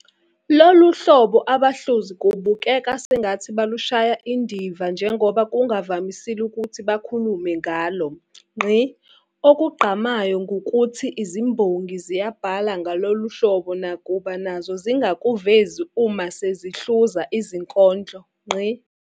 Lolu hlobo abahluzi kubukeka sengathi balushaya indiva njengoba kungavamisile ukuthi bakhulume ngalo. Okugqamayo ngukuthi izimbongi ziyabhala ngalolu hlobo nakuba nazo zingakuvezi uma sezihluza izinkondlo.